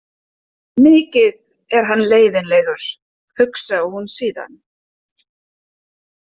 Mikið er hann leiðinlegur, hugsaði hún síðan.